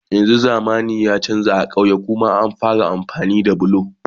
yanzun zamani ya chanza a kauyuka ma an fara amfani da bulo